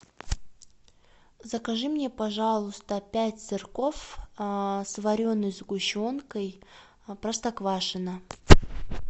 закажи мне пожалуйста пять сырков с вареной сгущенкой простоквашино